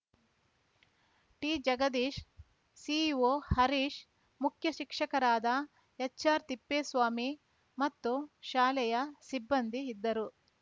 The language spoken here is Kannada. ಟಿಜಗದೀಶ್‌ ಇಸಿಒ ಹರೀಶ್‌ ಮುಖ್ಯ ಶಿಕ್ಷಕರಾದ ಎಚ್‌ಆರ್‌ತಿಪ್ಪೇಸ್ವಾಮಿ ಮತ್ತು ಶಾಲೆಯ ಸಿಬ್ಬಂದಿ ಇದ್ದರು